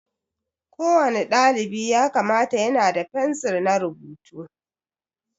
Ko wani dalibi ya kamata yana da fensir na rubutu